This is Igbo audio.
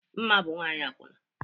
Mma bụ nwanyị akwụna